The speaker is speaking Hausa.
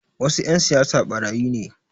Wasu 'yan siyasa ɓarayi ne